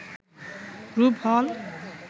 রূপ হল